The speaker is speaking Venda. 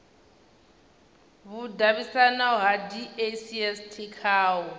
vhudavhidzano ha dacst kha u